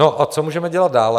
No a co můžeme dělat dále?